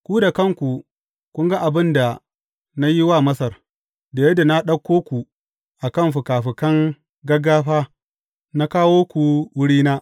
Ku da kanku kun ga abin da na yi wa Masar, da yadda na ɗauko ku a kan fikafikan gaggafa na kawo ku wurina.